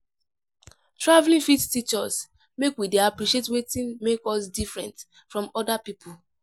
Travelling fit teach us make we dey appreciate wetin make us different from other pipo